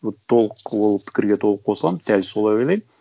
вот толық ол пікірге толық қосыламын дәл солай ойлаймын